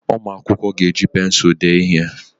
Ụmụ akwụkwọ ga-eji pensụl dee ihe.